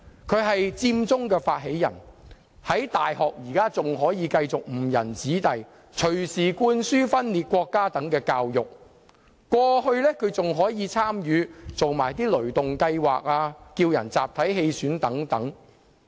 他是佔中發起人，現時仍繼續在大學誤人子弟，隨時灌輸分裂國家等教育，而過去亦曾參與"雷動計劃"或叫人集體棄選等。